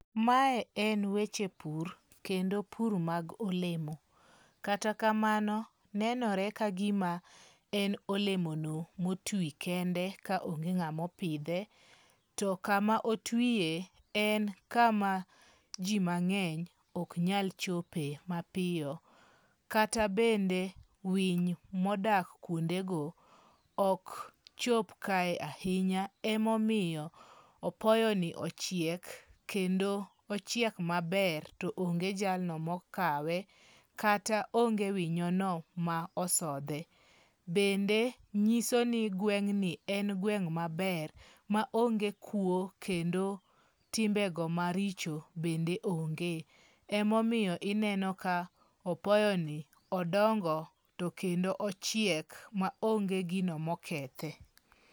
Mae en weche pur kendo pur mag olemo. Kata kamano nenore kagima en olemono motwi kende kaonge ng'amopidhe. To kama otwie, en kama ji mang'eny ok nyal chope mapiyo. Kata bende winy modak kuondego ok chop kae ahinya, emomiyo apoyoni ochiek kendo ochiek maber to onge jalno mokawe, kata onge winyono mosodhe. Bende nyiso ni gweng' ni en gweng' maber ma onge kuo kendo timbe go maricho bende onge. Emomiyo ineno ka opoyoni odongo to kendo ochiek maonge gino mokethe.